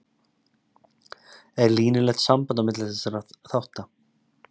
Er línulegt samband á milli þessara þátta?